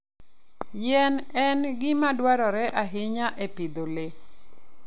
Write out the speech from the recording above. yien en gima dwarore ahinya e pidho le.